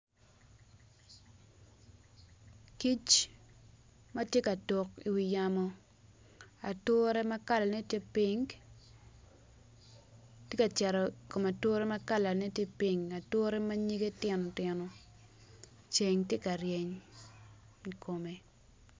kic mati ka tuk i wi yamo ature ma kalane ti ping ti ka cito i kom ature ma kalane ti ping ature ma nyinge tino tino ceng ti ka ryeny i kome